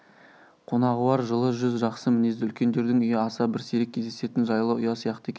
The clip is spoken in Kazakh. қонағуар жылы жүз жақсы мінезді үлкендердің үйі аса бір сирек кездесетін жайлы ұя сияқты екен